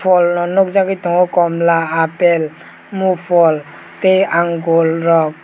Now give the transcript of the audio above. pholno nukjagolui tongo komla apple mo phol tei angoor rok.